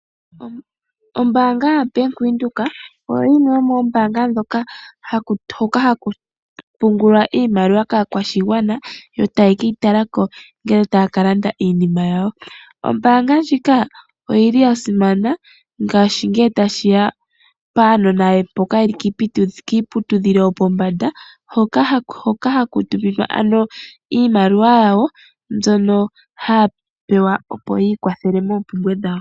Ombaanga yaBank Windhoek oyo yimwe yomoonbaanga hoka haku pungulwa iimaliwa kaakwashigwana yo taye keyitalako uuna taya kalanda iinima yawo. Ombaanga ndjika oyili yasimana shaashi ngee tashiya paanona yeli kiiputudhilo yopombanda hoka haku tuminwa ano iimaliwa yawo opo yiikwathele ano noompumbwe dhawo.